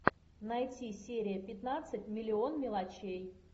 найти серия пятнадцать миллион мелочей